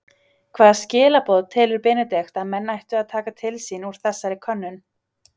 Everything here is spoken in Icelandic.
Hvaða skilaboð telur Benedikt að menn ættu að taka til sín úr þessari könnun?